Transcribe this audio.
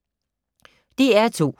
DR2